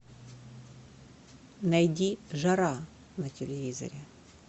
найди жара на телевизоре